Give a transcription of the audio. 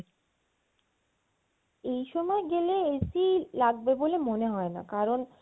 এই সময় গেলে AC লাগবে বলে মনে হয় না কারণ